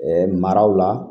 maraw la